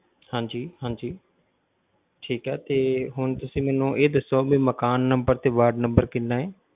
ਹਾਂਜੀ ਹਾਂਜੀ ਠੀਕ ਹੈ ਤੇ ਹੁਣ ਤੁਸੀ ਮੈਨੂੰ ਇਹ ਦੱਸੋ ਵੀ ਮਕਾਨ number ਤੇ ਵਾਰਡ number ਕਿੰਨਾ ਹੈ?